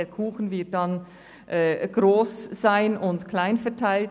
Der Kuchen wird in kleinen Stücken verteilt.